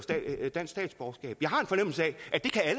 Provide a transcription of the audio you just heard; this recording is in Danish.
dansk statsborgerskab jeg har en fornemmelse af